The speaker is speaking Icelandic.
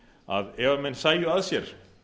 að ef menn sæju að sér